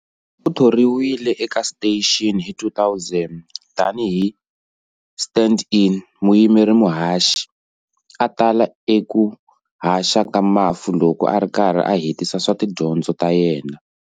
Uthoriwile eka station hi 2000 tani hi stand-in, muyimeri muhaxi, a tala eku haxa ta Mafu loko ari karhi a hetisa swa tidyondzo ta yena.